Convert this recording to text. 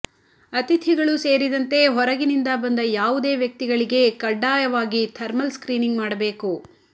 ಅತಿಥಿಗಳು ಸೇರಿದಂತೆ ಹೊರಗಿನಿಂದ ಬಂದ ಯಾವುದೇ ವ್ಯಕ್ತಿಗಳಿಗೆ ಕಡ್ಡಾಯವಾಗಿ ಥರ್ಮಲ್ ಸ್ಕ್ರೀನಿಂಗ್ ಮಾಡಬೇಕು